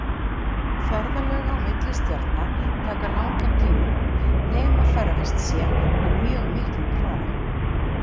Ferðalög á milli stjarna taka langan tíma nema ferðast sé á mjög miklum hraða.